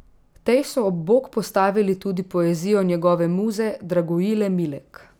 Tej so ob bok postavili tudi poezijo njegove muze Dragojile Milek.